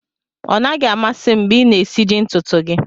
Ọ naghị amasị m mgbe ị na-esiji ntutu gị